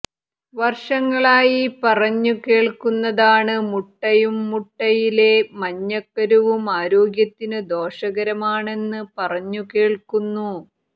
വര്ഷങ്ങളായി പറഞ്ഞു കേള്ക്കുന്നതാണ് മുട്ടയും മുട്ടയിലെ മഞ്ഞക്കരുവും ആരോഗ്യത്തിന് ദോഷകരമാണെന്ന് പറഞ്ഞു കേള്ക്കുന്നു